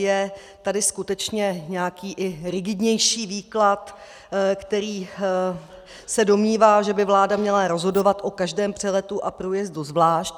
Je tady skutečně nějaký i rigidnější výklad, který se domnívá, že by vláda měla rozhodovat o každém přeletu a průjezdu zvlášť.